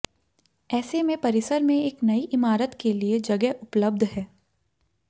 ऐसे में परिसर में एक नई इमारत के लिए जगह उपलब्ध है